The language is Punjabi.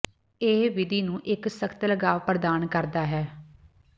ਇਹ ਵਿਧੀ ਨੂੰ ਇੱਕ ਸਖ਼ਤ ਲਗਾਵ ਪ੍ਰਦਾਨ ਕਰਦਾ ਹੈ